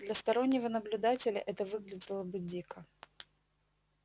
для стороннего наблюдателя это выглядело бы дико